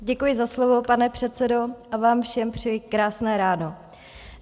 Děkuji za slovo, pane předsedo, a vám všem přeji krásné ráno.